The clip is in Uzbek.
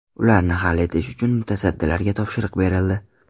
Ularni hal etish uchun mutasaddilarga topshiriq berildi.